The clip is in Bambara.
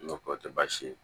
N go k'o te baasi ye